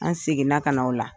An segin na ka na o la.